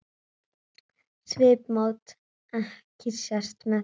Svipmót ekki sést með þeim.